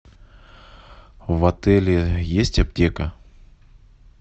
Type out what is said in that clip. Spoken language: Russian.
в отеле есть аптека